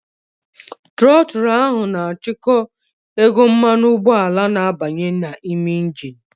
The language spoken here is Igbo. The trotul na-achịkwa ego mmanụ ụgbọala na-abanye n'ime engini.